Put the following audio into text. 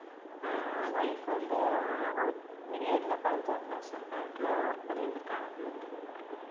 அஹ் wife வந்து ah அவங்க period ல பஞ்சாப் நேஷ்னல் பேங்க்ல work பண்ணிருந்திருக்காங்க போலிருக்கு